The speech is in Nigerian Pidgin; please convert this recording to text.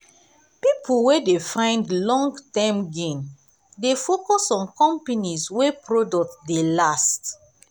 people wey people wey dey find long-term gain dey focus on companies wey product dey last.